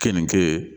Keninge